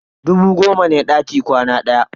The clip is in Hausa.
Dubu goma ne daki kwana ɗaya.